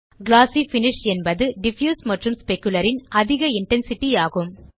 குளோசி finish என்பது diffuse மற்றும் specular ன் அதிக இன்டென்சிட்டி ஆகும்